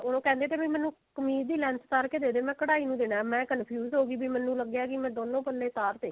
ਉਹ ਕਹਿੰਦੇ ਕੇ ਮੈਨੂੰ ਕਮੀਜ਼ ਦੀ length ਉਤਾਰ ਕੇ ਦੇਦੇ ਮੈਂ ਕਢਾਈ ਨੂੰ ਦੇਣਾ ਮੈਂ confuse ਮੈਨੂੰ ਲੱਗਿਆ ਵੀ ਮੈਂ ਦੋਨੋ ਪੱਲੇ ਉਤਾਰ ਤੇ